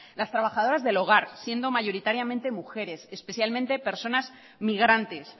las trabajadoras del hogar siendo mayoritariamente mujeres especialmente personas migrantes